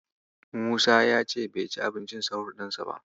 Musa ya ce bai ci abincin sahur ɗinsa ba.